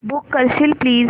book करशील please